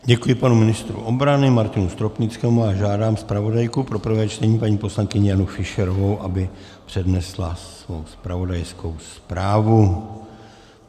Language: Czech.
Děkuji panu ministru obrany Martinu Stropnickému a žádám zpravodajku pro prvé čtení paní poslankyni Janu Fischerovou, aby přednesla svou zpravodajskou zprávu.